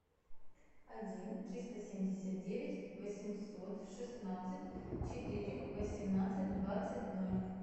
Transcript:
один триста семьдесят девять восемьсот шестнадцать четыре восемнадцать двадцать ноль